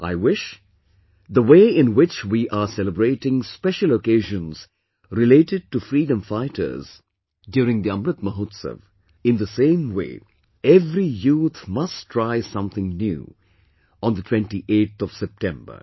I wish, the way in which we are celebrating special occasions related to freedom fighters during the Amrit Mahotsav, in the same way every youth must try something new on the 28th of September